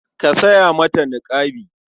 Ka saya mata niƙabi.